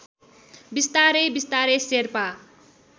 बिस्तारै बिस्तारै शेर्पा